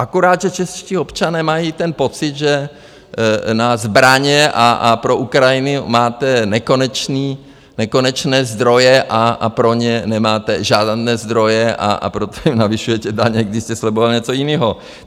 Akorát, že čeští občané mají ten pocit, že na zbraně a pro Ukrajinu máte nekonečné zdroje a pro ně nemáte žádné zdroje, a proto jim navyšujete daně, když jste slibovali něco jiného.